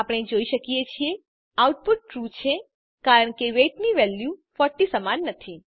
આપણે જોઈ શકીએ છીએ આઉટપુટ ટ્રૂ છે કારણ કે વેઇટ ની વેલ્યુ 40 સમાન નથી